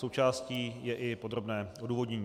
Součástí je i podrobné odůvodnění.